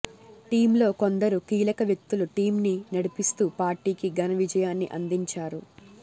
team లో కొందరు కీలక వ్యక్తులు టీం ని నడిపిస్తూ పార్టీ కి ఘన విజయాన్ని అందించారు